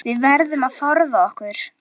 Við verðum að forða okkur.